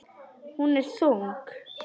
Hún er þung.